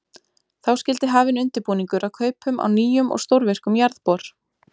Þá skyldi hafinn undirbúningur að kaupum á nýjum og stórvirkum jarðbor.